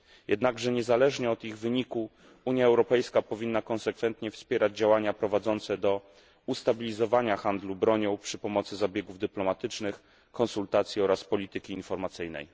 Jednakże niezależnie od ich wyniku, Unia Europejska powinna konsekwentnie wspierać działania prowadzące do ustabilizowania handlu bronią przy pomocy zabiegów dyplomatycznych, konsultacji oraz polityki informacyjnej.